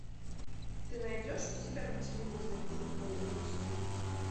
ты найдешь у себя на телевизоре футбол эйч ди